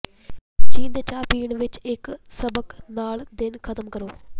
ਚੀਨ ਦੇ ਚਾਹ ਪੀਣ ਵਿਚ ਇਕ ਸਬਕ ਨਾਲ ਦਿਨ ਖ਼ਤਮ ਕਰੋ